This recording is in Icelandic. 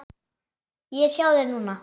Ég er hjá þér núna.